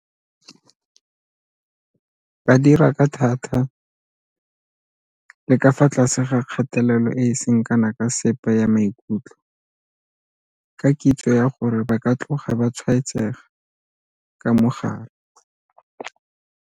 Ba dira ka thata le ka fa tlase ga kgatelelo e e seng kana ka sepe ya maikutlo ka kitso ya gore ba ka tloga ba tshwaetsega ka mogare.